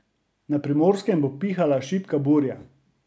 Na Primorskem bo pihala šibka burja.